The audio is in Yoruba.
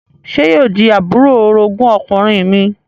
Sé yóò di àbúrò orogún ọkùnrin mi?